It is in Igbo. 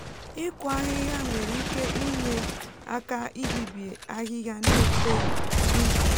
ịkụ ahịhịa nwere ike inye aka ibibi ahihia n'eto n'ubi